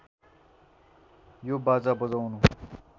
यो बाजा बजाउनु